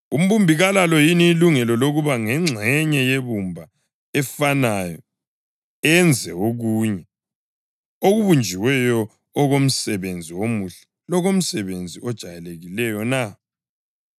Umbumbi kalalo yini ilungelo lokuba ngengxenye yebumba efanayo enze okunye okubunjiweyo okomsebenzi omuhle lokomsebenzi ojayelekileyo na?